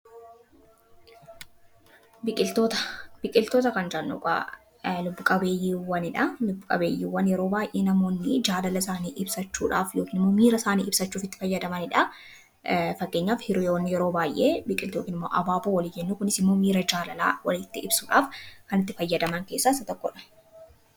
Biqiltoota kan jannu egaa lubbu qabeeyyiiwwan yeroo baay'ee namoonni jaalala isaanii ibsachuudhaaf yookiin miira isaanii ibsachuuf itti fayyadamaniidha. Fakkeenyaaf hiriyyoonni yeroo baay'ee biqiltoota yookiin immoo abaaboo walii kennu. Kunisimmoo miira jaalalaa walitti ibsuudhaaf kanitti fayyadaman keessaa issa tokkodha.